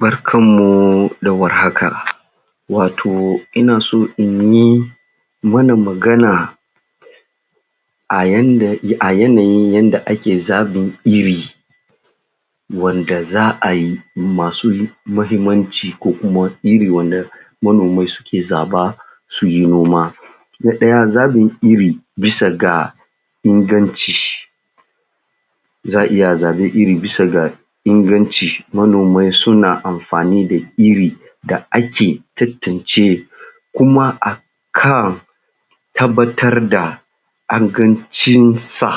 Barkar mu da warhaka wato Ina so inyi mana magana ayanda a yanayin yadda ake zaɓin Iri wanda za’ayi masu muhimmanci ko kuma Iri wanda manomai suke zaba suyi noma na ɗaya zaɓin Iri bisa ga inganci za’a iya zaɓin Iri bisa ga inganci manomai suna amfani da Iri da ake tattace kuma a kuma akan tabbatar da ingancin sa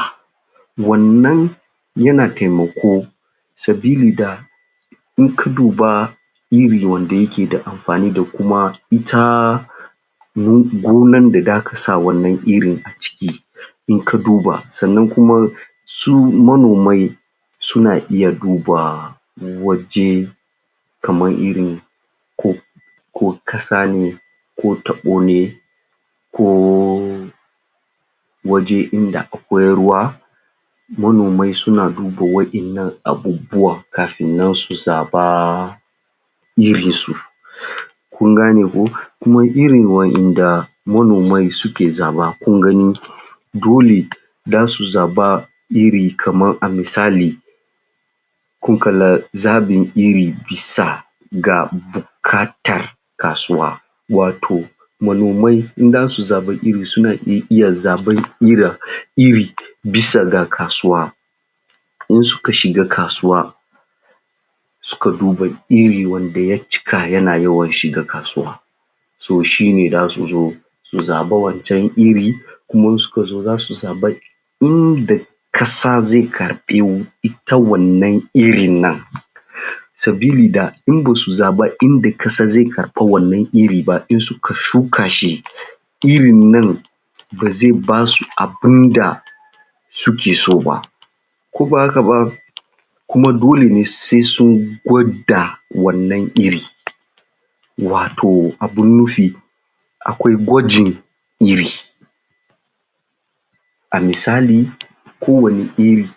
wannan yana taimako sabili da in ka duba Iri wanda yake da amfani da kuma ita gonan da zaka sa wannan Irin a ciki in ka duba sannan su su manomai suna iya duba waje kamar irin ko ko ƙasa ne ne ko taɓo ne ko waje inda akwai ruwa manomai suna duba waɗannan abubuwan kafin nan su zaba Irin su kun gane ko, kuma Iri wanda manomai suke zaɓa kun gani dole za su zaɓa Irin kamar a misali kun kalla zaɓi Iri bisa ga buƙatar kasuwa wato manomai in zasu zaɓi Iri suna iya zaɓar Irai Iri bisa ga Kasuwa idan suka shiga kasuwa suka duba Iri wanda ya cika yana yawan shiga kasuwa so shine zasu zo su zaɓa wancan Iri kuma in suka zo zasu zabi inda inda ƙasa zai karɓi wata wanna Irin nan sabili da in basu zaɓi inda ƙasa zai karɓi Irin ba idan suka shuka shi Irin nan ba zai basu abinda suke so ba ko ba haka ba kuma dole ne sai sun gwada wannan Irin wato abin nufi akwai gwajin Irin A misali kowanne Iri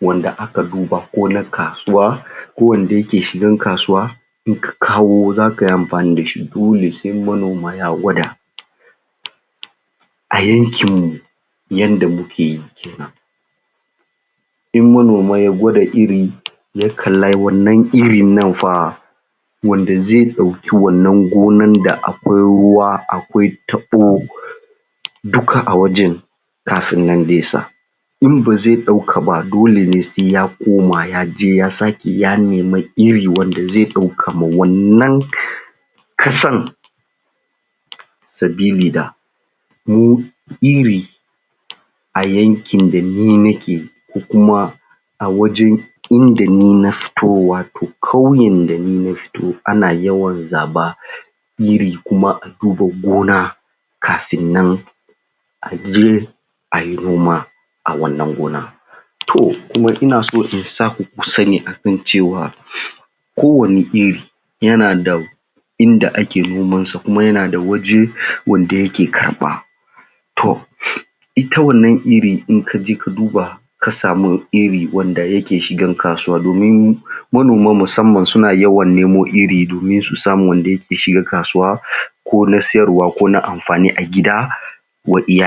wanda aka duba ko na kasuwa ko wanda yake shigan kasuwa in ka kawo zaka yi amfani dashi dole sai manoma ya gwada a yankin mu yadda muke yi kenan in manoma ya gwada Iri ya kalla wannan Iri nan fa wanda zai ɗauki wannan gona akwai ruwa akwai taɓo duka a wajan kafin nan zai sai in bazai ɗauka ba dole ne sai ya koma yaje ya sake ya nemi Iri wanda zai ɗauka ma wannan ƙasan sabili da mu Iri a yankin da ni nake ko kuma a wajan inda ni na fito wato ƙauyan da Ni na fito ana yawan zaɓa Iri kuma a duba gona kafin nan a je ayi noma a wannan gona To kuma ina so in saku ku sani akan cewa kowanne Iri yana da inda ake noman sa kuma yana da waje wanda yake karɓa to ita wannan Iri in kaje ka duba ka samu iri wanda yake shigar kasuwa domin manoma musamman suna yawan nemo Iri domin su samo wanda ya shigar kasuwa ko na siyarwa ko na amfani a gida wa iyali.